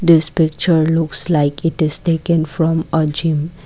this picture looks like it is taken from a gym.